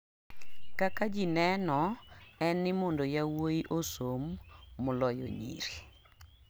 kaka ji neno en ni mondo yawuoyi osom maloyo nyiri